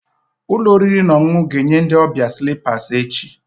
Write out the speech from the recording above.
Ụlọ oriri na ọṅụṅụ ga-enye ndị ọbịa slippers echi